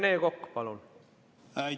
Rene Kokk, palun!